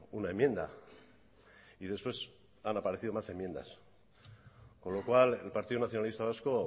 una enmienda y después han aparecido más enmiendas con lo cual el partido nacionalista vasco